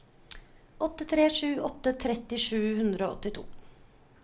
åtte tre sju åtte tretti sju hundre og åttito